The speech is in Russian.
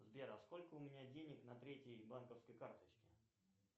сбер а сколько у меня денег на третьей банковской карточке